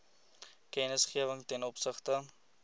kennisgewing ten opsigte